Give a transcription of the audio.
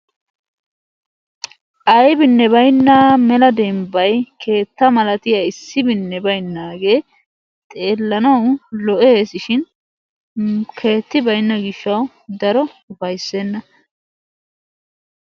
Aybinne bayna mela dembbay keettaa malatiya issibinne baynnaagee xeellanawu lo'e'esishin keetti baynna gishshawu daro ufayssenna.